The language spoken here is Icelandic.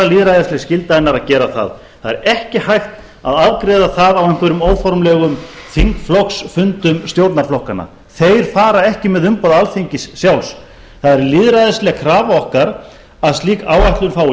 lýðræðisleg skylda hennar að gera það það er ekki hægt að afgreiða það á einhverjum óformlegum þingflokksfundum stjórnarflokkanna þeir fara ekki með umboð alþingis sjálfs það er lýðræðisleg krafa okkar að slík áætlun fái